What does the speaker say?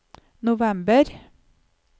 november